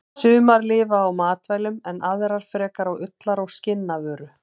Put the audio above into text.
Sumar lifa á matvælum en aðrar frekar á ullar- og skinnavöru.